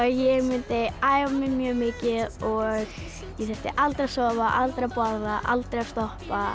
ég mundi æfa mig mjög mikið ég þyrfti aldrei að sofa aldrei að borða aldrei að stoppa